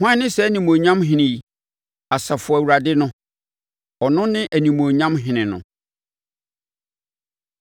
Hwan ne saa animuonyam Ɔhene yi? Asafo Awurade no, ɔno ne animuonyam Ɔhene no.